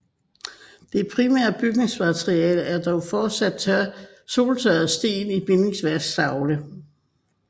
Det primære bygningsmateriale er dog fortsat soltørrede sten i bindingsværktavlene